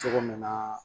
Cogo min na